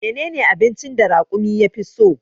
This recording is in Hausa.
Menene abincin da raƙumi ya fi so?